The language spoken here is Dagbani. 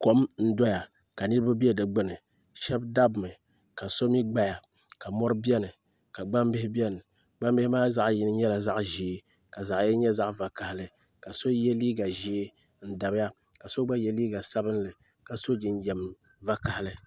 Kom n doya ka niriba bɛ di gbuni shɛba dabimi ka so mi gbaya mori bɛni ka gbaŋ bihi bɛni gbaŋ bihi maa zaɣi yini nyɛla zaɣi zɛɛ ka zaɣi yini nyɛ zaɣi vakahali ka so ye liiga zɛɛ n dabiya ka so gba ye liiga sabinli ka so jinjɛm sabinli vakahali.